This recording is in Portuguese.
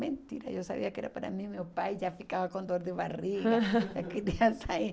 Mentira, eu sabia que era para mim, meu pai já ficava com dor de barriga, já queria sair.